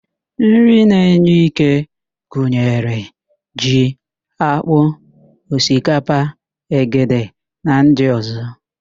Nri na-enye íké gunyere: ji, ákpụ́, osikapa, ogede na ndị ọ̀zọ́.